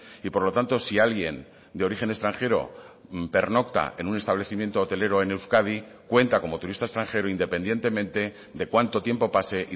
y por lo tanto si alguien de origen extranjero pernocta en un establecimiento hotelero en euskadi cuenta como turista extranjero independientemente de cuánto tiempo pase